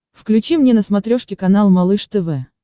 включи мне на смотрешке канал малыш тв